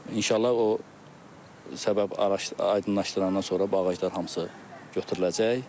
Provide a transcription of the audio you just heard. İnşallah o səbəb araşdırıb aydınlaşdırandan sonra bu ağaclar hamısı götürüləcək.